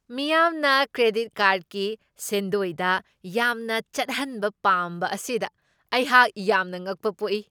ꯃꯤꯌꯥꯝꯅ ꯀ꯭ꯔꯦꯗꯤꯠ ꯀꯥꯔ꯭ꯗꯀꯤ ꯁꯦꯟꯗꯣꯏꯗ ꯌꯥꯝꯅ ꯆꯠꯍꯟꯕ ꯄꯥꯝꯕ ꯑꯁꯤꯗ ꯑꯩꯍꯥꯛ ꯌꯥꯝꯅ ꯉꯛꯄ ꯄꯣꯛꯏ ꯫